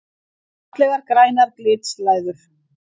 Fallegar grænar glitslæður!